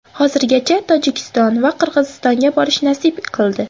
Hozirgacha Tojikiston va Qirg‘izistonga borish nasib qildi.